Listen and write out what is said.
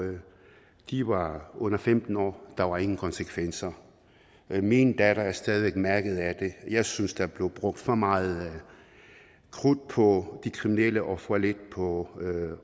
de var under femten år der var ingen konsekvenser min datter er stadig væk mærket af det jeg synes der blev brugt for meget krudt på de kriminelle og for lidt på